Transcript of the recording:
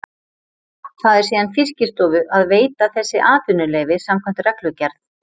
Það er síðan Fiskistofu að veita þessi atvinnuleyfi samkvæmt reglugerð.